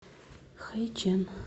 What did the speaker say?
хайчэн